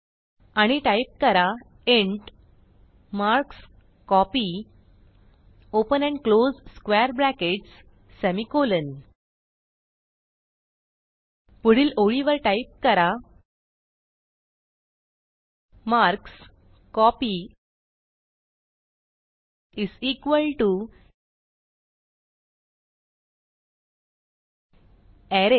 आणि टाईप करा int marks copy open and close square brackets semicolon पुढील ओळीवर टाईप करा मार्कस्कोपी अरेज